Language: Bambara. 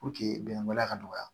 bɛnbaliya ka dɔgɔya